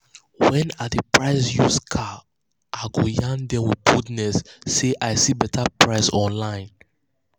um when i dey price used um car i go yarn them with boldness say i see better price online.